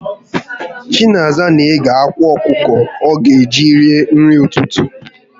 Chinaza n'éghé ákwàọkụkọ ọga eji ri nri ụtụtụ